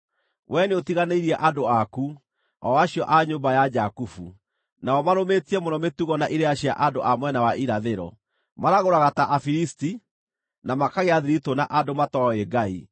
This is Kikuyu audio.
Wee nĩũtiganĩirie andũ aku, o acio a nyũmba ya Jakubu. Nao marũmĩtie mũno mĩtugo na irĩra cia andũ a mwena wa irathĩro; maragũraga ta Afilisti, na makagĩa thiritũ na andũ matooĩ Ngai.